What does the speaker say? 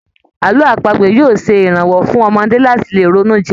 Àlọ́ àpagbè yóò ṣe ìrànwọ́ fún ọmọdé láti lè ronú jinlẹ̀